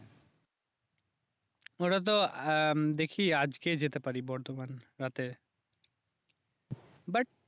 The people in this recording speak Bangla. ওটাতো আহ দেখি আজকে যেতে পারি বর্ধমান রাতে বাট